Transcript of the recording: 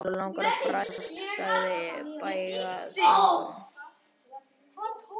Okkur langar að fræðast sagði Bægslagangur.